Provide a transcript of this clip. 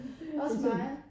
Også mig